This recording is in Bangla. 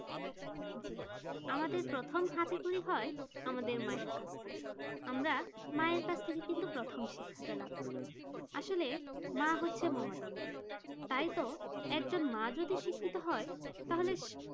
আমাদের প্রথম হাতে খড়ি হয় আমাদের মায়ের কাছ থেকে আমরা মায়ের কাছ থেকে কিন্তু প্রথম শিক্ষাটা লাভ করি আসলে মা হচ্ছে মমতাময়ী। তাইতো একজন মা যদি শিক্ষিত হয় তাহলে